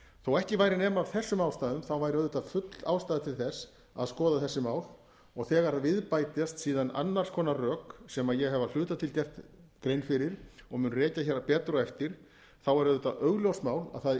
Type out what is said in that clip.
þó að ekki væri nema af þessum ástæðum væri auðvitað full ástæða til þess að skoða þessi mál og þegar við bætast síðan annars konar rök sem ég hef að hluta til gert grein fyrir og mun rekja hér betur á eftir er auðvitað augljóst mál að það